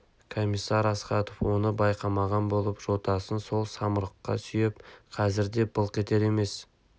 комиссар астахов оны байқамаған болып жотасын сол самұрыққа сүйеп қазір де былқ етер емес